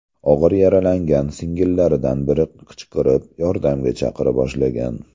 Og‘ir yaralangan singillaridan biri qichqirib, yordamga chaqira boshlagan.